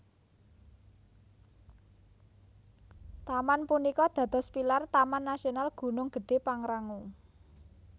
Taman punika dados pilar Taman Nasional Gunung Gedé Pangrango